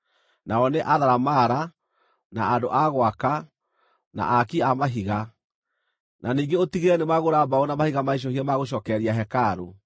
nao nĩ atharamara, na andũ a gwaka, na aaki a mahiga. Na ningĩ ũtigĩrĩre nĩmagũra mbaũ na mahiga maicũhie ma gũcookereria hekarũ.